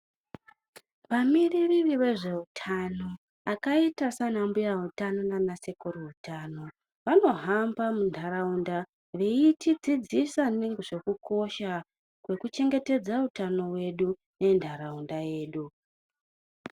Vamiriri vezveutano vakaitasana mbuya utano nana sekuru utano vanohamba mundaraunda veitidzidzisa nezvekukosha kweku chengetedza utano hwedu nendaraunda